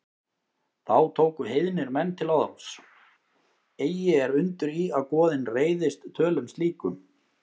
Þá tóku heiðnir menn til orðs: Eigi er undur í, að goðin reiðist tölum slíkum